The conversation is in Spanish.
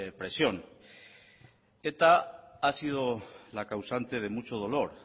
presión eta ha sido la causante de mucho dolor